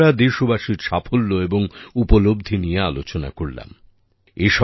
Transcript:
এতক্ষণ আমরা দেশবাসীর সাফল্য এবং উপলব্ধি নিয়ে আলোচনা করলাম